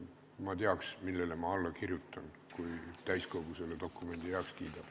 Et ma teaks, millele ma alla kirjutan, kui täiskogu selle dokumendi heaks kiidab.